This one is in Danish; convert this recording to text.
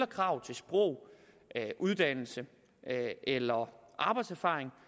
krav til sprog uddannelse eller arbejdserfaring